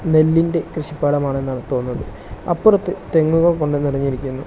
നെല്ലിന്റെ കൃഷിപ്പാടമാണെന്നാണ് തോന്നുന്നത് അപ്പുറത്ത് തെങ്ങുകൾ കൊണ്ട് നിറഞ്ഞിരിക്കുന്നു.